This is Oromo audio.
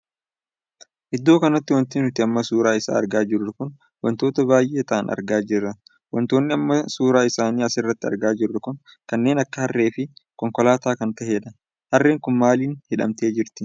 Iddoo kanatti wanti nuti amma suuraa isaa argaa jirru kun wantoota baay'ee taa'aan argaa jirra. wantoonni amma suuraa isaanii as irratti argaa jirru kun kanneen akka harree fi konkolaataa kan tahedha. harreen kun maalii hidhamtee jirti?